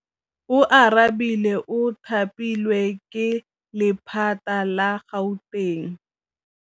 Oarabile o thapilwe ke lephata la Gauteng.